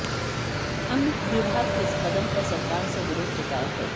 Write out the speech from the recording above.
हमने विभाग के इस कदम पर सरकार से विरोध जताया है